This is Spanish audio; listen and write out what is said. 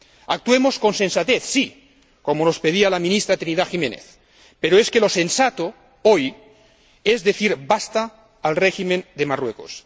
Actuemos con sensatez, sí, como nos pedía la ministra Trinidad Jiménez, pero es que lo sensato, hoy, es decir basta al régimen de Marruecos.